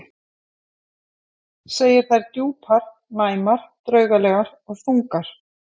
Segir þær djúpar, næmar, draugalegar og þungar.